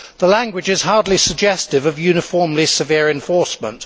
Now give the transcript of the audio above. The language is hardly suggestive of uniformly severe enforcement.